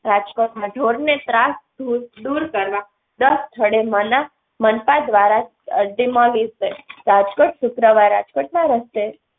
રાજકોટમાં ઢોરને ત્રાસ ધૂર દૂર કરવા દસ સ્થળે મના મનપા દ્વારા અરજી માંગી છે રાજકોટ શુક્રવાર રાજકોટમાં રસ્તે